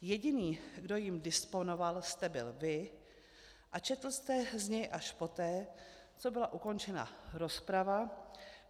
Jediný, kdo jím disponoval, jste byl vy a četl jste z něj až poté, co byla ukončena rozprava.